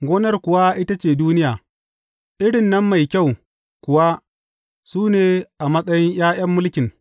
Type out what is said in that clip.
Gonar kuwa ita ce duniya, irin nan mai kyau kuwa suna a matsayin ’ya’yan mulkin.